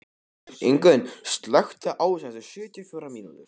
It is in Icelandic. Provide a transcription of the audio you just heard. Ingunn, slökktu á þessu eftir sjötíu og fjórar mínútur.